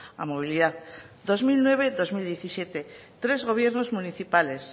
a movilidad dos mil nueve dos mil diecisiete tres gobiernos municipales